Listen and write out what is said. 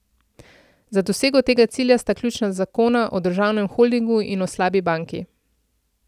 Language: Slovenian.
Za dosego tega cilja sta ključna zakona o državnem holdingu in o slabi banki.